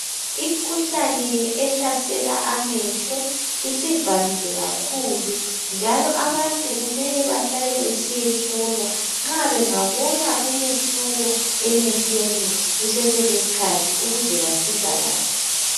Imikhuhlane ehlasela amehlo isivamile kakhulu njalo abantu kumele bahlale besiyahlolwa nxa bengabona umehluko emehlweni kusese lesikhathi ukuze basizakale.